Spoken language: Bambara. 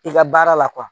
I ka baara la